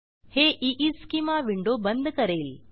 हे schema window बंद करेल